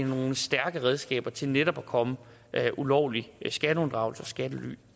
nogle stærke redskaber til netop at komme ulovlig skatteunddragelse og skattely